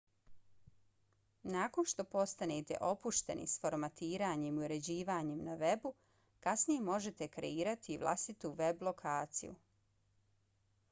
nakon što postanete opušteni s formatiranjem i uređivanjem na webu kasnije možete kreirati i vlastitu web lokaciju